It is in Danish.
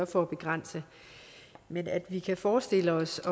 for at begrænse men at vi kan forestille os